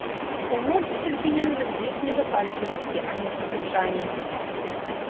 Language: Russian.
я мог быть обвинён в излишней запальчивости а не в ослушании